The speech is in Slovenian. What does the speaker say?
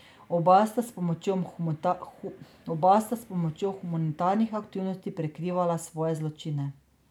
Oba sta s pomočjo humanitarnih aktivnosti prikrivala svoje zločine.